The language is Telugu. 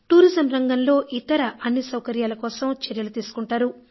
టూరిజం రంగంలో ఇతర అన్ని సౌకర్యాల కోసం చర్యలు తీసుకుంటారు